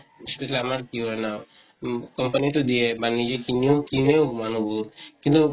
আমাৰ কি হয় না, উম company তো দিয়ে বা নিজে কিনিও, কিনেও মানুহবোৰ । কিন্তু